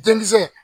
Denmisɛn